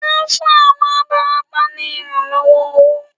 Wón fún àwọn abarapá ní ìrànlọ́wọ́ owó